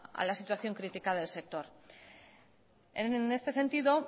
a la situación crítica del sector en este sentido